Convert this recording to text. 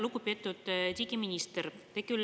Lugupeetud digiminister!